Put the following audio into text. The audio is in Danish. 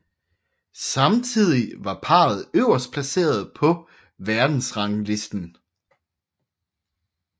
Samtidig var parret øverstplaceret på verdensranglisten